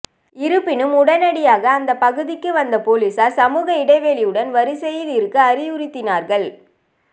இருப்பினும் உடனடியாக அந்த பகுதிக்கு வந்த போலீசார் சமூக இடைவெளியுடன் வரிசையில் இருக்க அறிவுறுத்தினார்கள்